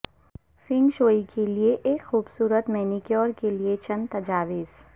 feng shui کے لئے ایک خوبصورت مینیکیور کے لئے چند تجاویز